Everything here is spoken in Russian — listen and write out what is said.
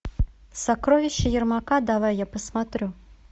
сокровища ярмака давай я посмотрю